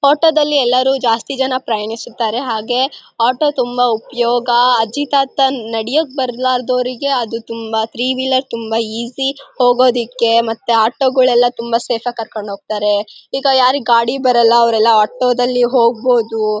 ಆಟೋದಲ್ಲಿ ಎಲ್ಲರೂ ಜಾಸ್ತಿ ಜನ ಪ್ರಯಾಣಿಸುತ್ತಾರೆ ಹಾಗೆ ಆಟೋ ತುಂಬ ಉಪಯೋಗ. ಅಜ್ಜಿ ತಾತ ನಡಿಯೋಕ್ ಬಾರ್ಲಾದವರಿಗೆ ಅದು ತ್ರೀ ವೀಲರ್ ತುಂಬಾ ಈಜಿ ಹೋಗೋದಕ್ಕೆ ಮತ್ತೆ ಆಟೋದವರು ತುಂಬಾ ಸೇಫ್ ಆಗಿ ಕರ್ಕೊಂಡು ಹೋಗ್ತಾರೆ. ಈಗ ಯಾರಿಗೆ ಗಾಡಿ ಬರೋಲ್ಲ ಅವ್ರೆಲ್ಲ ಆಟೋ ದಲ್ಲಿ ಹೋಗ್ಬಹುದು.